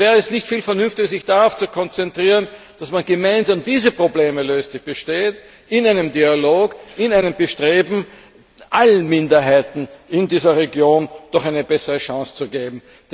Und wäre es nicht viel vernünftiger, sich darauf zu konzentrieren, dass man gemeinsam diese bestehenden Probleme löst in einem Dialog, in einem Bestreben, allen Minderheiten in dieser Region doch eine bessere Chance zu geben?